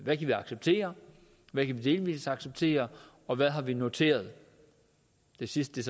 hvad vi kan acceptere hvad vi delvis kan acceptere og hvad vi har noteret det sidste